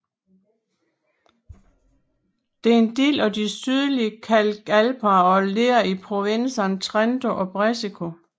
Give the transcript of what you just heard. Det er en del af de Sydlige kalkalper og ligger i provinserne Trento og Brescia